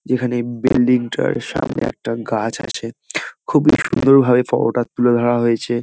যেখানে বিল্ডিং -টার সামনে একটা গাছ আছে খুবই সুন্দর ভাবে ফটো -টা তুলে ধরা হয়েছে।